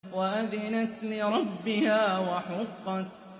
وَأَذِنَتْ لِرَبِّهَا وَحُقَّتْ